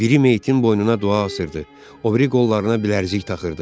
Biri meyyitin boynuna dua asırdı, o biri qollarına bilərzik taxırdı.